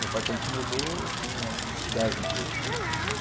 Meu pai, quando se mudou, tinha uns dez mil.